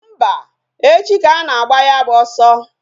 Mba, echi ka ana-agba ya bụ ọsọ